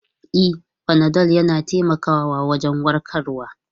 E, fanadol yana taimakawa wajen warkarwa.